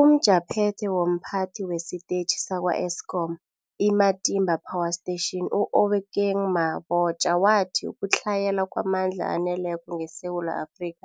UmJaphethe womPhathi wesiTetjhi sakwa-Eskom i-Matimba Power Station u-Obakeng Mabotja wathi ukutlhayela kwamandla aneleko ngeSewula Afrika